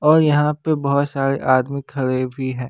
और यहां पे बहुत सारे आदमी खड़े भी हैं।